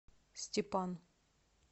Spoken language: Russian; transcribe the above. степан